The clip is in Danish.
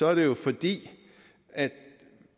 er det jo fordi